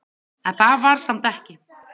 En það var samt ekki.